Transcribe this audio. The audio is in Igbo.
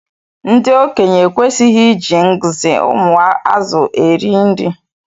Ndi okenye ekwesighi iji ngzi ụmụ azụ eri nri.